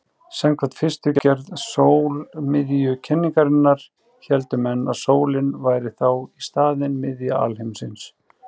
Samkvæmt fyrstu gerð sólmiðjukenningarinnar héldu menn að sólin væri þá í staðinn miðja alheimsins.